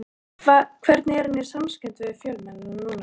Hvernig er hann í samskiptum við fjölmiðla núna?